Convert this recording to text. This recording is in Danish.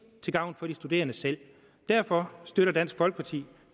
til gavn for de studerende selv derfor støtter dansk folkeparti